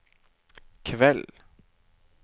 kveld